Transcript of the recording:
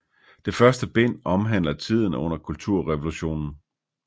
Det første bind omhandler tiden under Kulturrevolutionen